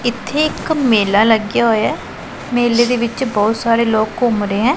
ਇੱਥੇ ਇੱਕ ਮੇਲਾ ਲੱਗਿਆ ਹਾਇਆ ਹੈ ਮੇਲੇ ਦੇ ਵਿੱਚ ਬਹੁਤ ਸਾਰੇ ਲੋਕ ਘੁੰਮ ਰਹੇ ਹੈਂ।